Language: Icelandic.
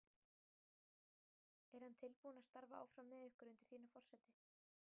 Er hann tilbúinn að starfa áfram með ykkur undir þínu forsæti?